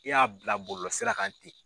I y'a bila bɔlɔlɔ sira kan ten.